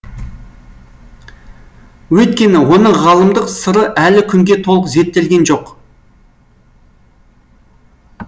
өйткені оның ғалымдық сыры әлі күнге толық зерттелген жоқ